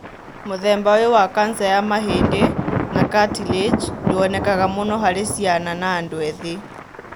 Mũthemba ũyũ wa kanca ya mahĩndĩ na cartilage ndũonekaga mũno harĩ ciana na andũ ethĩ.